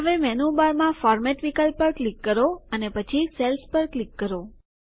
હવે મેનુબારમાં ફોર્મેટ વિકલ્પ પર ક્લિક કરો અને પછી સેલ્સ પર ક્લિક કરો